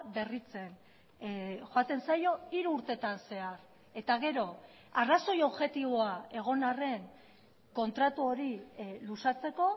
berritzen joaten zaio hiru urtetan zehar eta gero arrazoi objektiboa egon arren kontratu hori luzatzeko